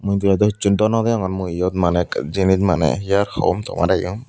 mujungendow hissu no degongor mui yot maney ek jinis maneh he aar hom tomarey yom.